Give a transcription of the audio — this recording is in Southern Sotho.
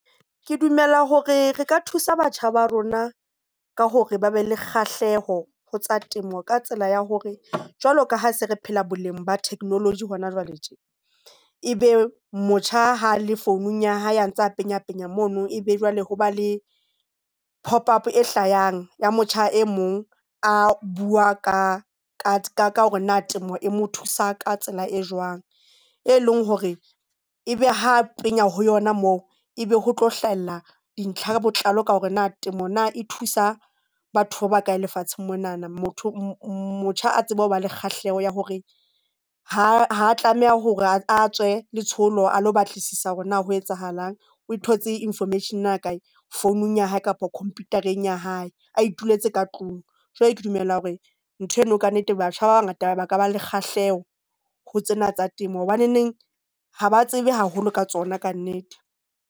Ke dumela hore re ka thusa batjha ba rona ka hore ba be le kgahleho ho tsa temo ka tsela ya hore jwalo ka ha se re phela boleng ba technology hona jwale tje e be motjha ha a le founung ya hae, a ntsa penya penya mono. Ebe jwale hoba le pop up e hlayang ya motjha e mong a bua ka hore na temo e mo thusa ka tsela e jwang, e leng hore ebe ha a penya ho yona moo, e be ho tlo hlahella dintlha ka botlalo ka hore na temo na e thusa batho ba bakae lefatsheng monana motho motjha a tseba hore ba le kgahleho ya hore ha ha tlameha hore a tswe letsholo, a batlisisa hore na ho etsahalang, o thotse information na kae, phone ya hae kapa computer-eng ya hae a ituletse ka tlung. Jwale ke dumela hore ntho eno ka nnete batjha ba bangata ba ka ba le kgahleho ho tsena tsa temo, hobaneneng ha ba tsebe haholo ka tsona kannete.